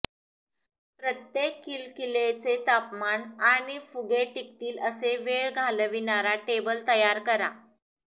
प्रत्येक किलकिलेचे तपमान आणि फुगे टिकतील असे वेळ घालविणारा टेबल तयार करा